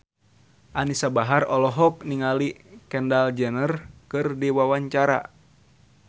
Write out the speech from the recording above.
Anisa Bahar olohok ningali Kendall Jenner keur diwawancara